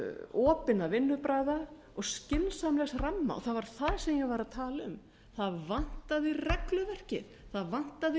opinna vinnubragða og skynsamlegs ramma og það var það sem ég var að tala um það vantaði regluverkið það vantaði